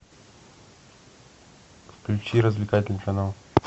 включи развлекательный канал